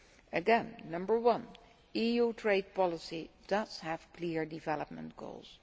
Again, number one EU trade policy does have clear development goals.